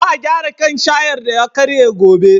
Za a gyara kan shayar da ya karye gobe.